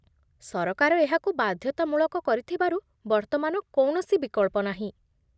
ସରକାର ଏହାକୁ ବାଧ୍ୟତାମୂଳକ କରିଥିବାରୁ ବର୍ତ୍ତମାନ କୌଣସି ବିକଳ୍ପ ନାହିଁ।